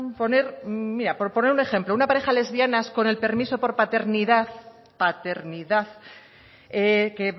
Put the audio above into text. poner mira por poner un ejemplo una pareja de lesbianas con el permiso por paternidad paternidad que